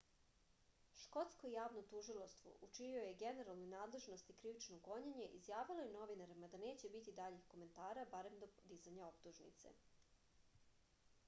škotsko javno tužilaštvo u čijoj je generalnoj nadležnosti krivično gonjenje izjavilo je novinarima da neće biti daljih komentara barem do dizanja optužnice